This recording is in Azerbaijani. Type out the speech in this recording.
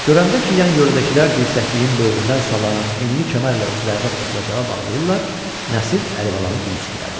Görəndə ki, yan yerdəkilər dirsəkliyin böyründən sallanan enli kəmərlə özlərini oturacağa bağlayırlar, Nəsir Əlibalanı dümsüklədi.